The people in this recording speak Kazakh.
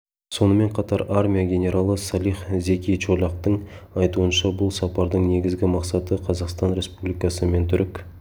сонымен қатар армия генералы салих зеки чолактың айтуынша бұл сапардың негізгі мақсаты қазақстан республикасы мен түрік